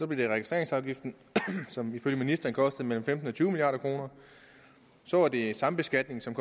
det registreringsafgiften som ifølge ministeren ville koste mellem femten og tyve milliard kroner så var det sambeskatning som